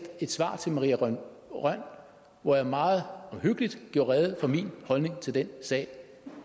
et svar til maria rønn hvor jeg meget omhyggeligt gjorde rede for min holdning til den sag